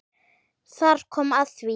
Þar kom að því.